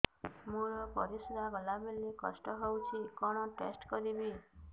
ମୋର ପରିସ୍ରା ଗଲାବେଳେ କଷ୍ଟ ହଉଚି କଣ ଟେଷ୍ଟ କରିବି